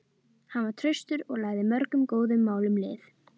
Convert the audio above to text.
Hann var traustur og lagði mörgum góðum málum lið.